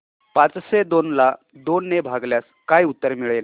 पाचशे दोन ला दोन ने भागल्यास काय उत्तर मिळेल